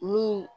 Mun